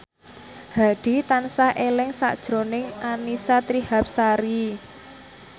Hadi tansah eling sakjroning Annisa Trihapsari